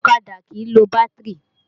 Ọ̀kadà kìí lo bátìrì